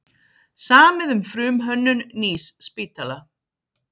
Samið um frumhönnun nýs spítala